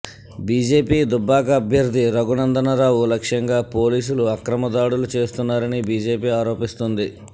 BJP Dubbaka అభ్యర్థి రఘునందనరావు లక్ష్యంగా పోలీసులు అక్రమ దాడులు చేస్తున్నారని బీజేపీ ఆరోపిస్తోంది